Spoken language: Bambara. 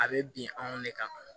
A bɛ bin anw de kan